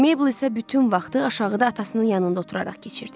Meble isə bütün vaxtı aşağıda atasının yanında oturaraq keçirdi.